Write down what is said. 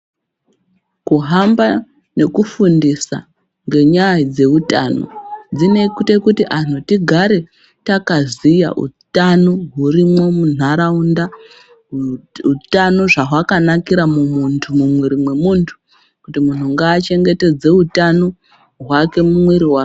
Kuhamba nekufundisa ngenyaya dzeutano, dzinoite kuti anhu tigare takaziya utano hurimwo munharaunda, utano zvehwakanakira mumuthu, mumwiri memunthu kuti munthu ngaachengetedze utano hwake mumwiri wake.